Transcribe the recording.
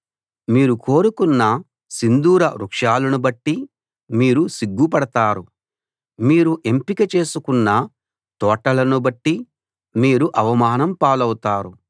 మీరు కోరుకున్న సింధూర వృక్షాలను బట్టి మీరు సిగ్గుపడతారు మీరు ఎంపిక చేసుకున్న తోటలను బట్టి మీరు అవమానం పాలవుతారు